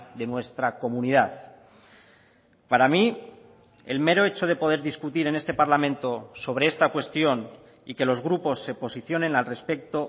de nuestra comunidad para mí el mero hecho de poder discutir en este parlamento sobre esta cuestión y que los grupos se posicionen al respecto